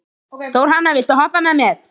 Þórhanna, viltu hoppa með mér?